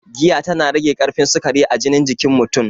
Giya ta na rage karfin sukari a jinin jikin mutun